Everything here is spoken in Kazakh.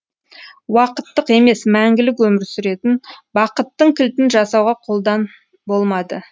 уақыттық емес мәңгілік өмір сүретін бақыттың кілтін жасауға қолдан болмады